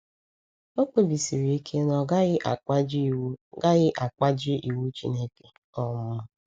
O kpebisiri ike na ọ gaghị akpajie iwu gaghị akpajie iwu Chineke. um